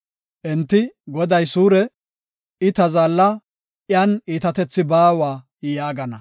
Enti, “Goday suure; I ta zaalla; iyan iitatethi baawa” yaagana.